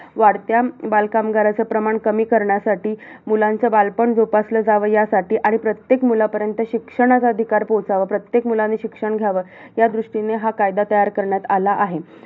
त्यांचा मुलगा संभाजी तिक तिकडे ते सुद्धा त्यांना घेऊन गेले संभाजी महाराजांना ते तिकडे घेऊन गेलेले शिवाजी महाराज कसा आहे की कारण की ते त्यांच्या मुलापर्यंत पण पोहचले पाहिजे.